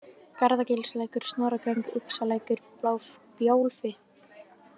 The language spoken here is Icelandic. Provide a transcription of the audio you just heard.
Garðagilslækur, Snorragöng, Uxalækur, Bjálfi